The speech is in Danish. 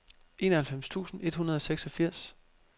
enoghalvfems tusind et hundrede og seksogfirs